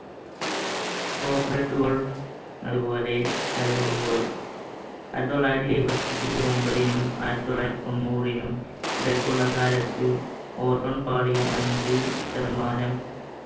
അതുപോലെ ആയിരത്തി തൊള്ളായിരത്തി എഴുപത്തിയൊമ്പതിനും ആയിരത്തി തൊള്ളായിരത്തി തൊണ്ണൂരിനും ഇടയ്ക്കുള്ള കാലത്ത് ozone പാളിയും അഞ്ചു ശതമാനം